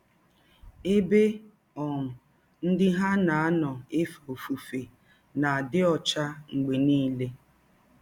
Ebe um ndị ha na - anọ efe ọfụfe na - adị ọcha mgbe niile.